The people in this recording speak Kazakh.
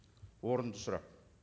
орынды сұрақ